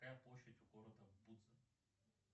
какая площадь у города будзы